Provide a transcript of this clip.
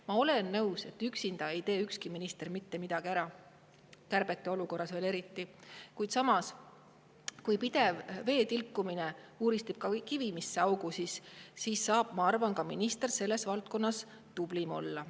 Ma olen nõus, et üksinda ei tee ükski minister mitte midagi ära, kärbete olukorras veel eriti, ent kui pidev vee tilkumine uuristab ka kivisse augu, siis saab ka minister minu arvates omas valdkonnas tublim olla.